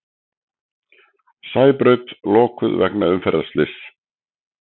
Sæbraut lokuð vegna umferðarslyss